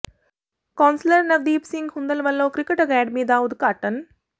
ਕੌ ਾਸਲਰ ਨਵਦੀਪ ਸਿੰਘ ਹੁੰਦਲ ਵਲੋਂ cricket academy ਦਾ ਉਦਘਾਟਨ